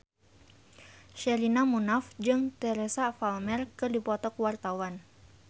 Sherina Munaf jeung Teresa Palmer keur dipoto ku wartawan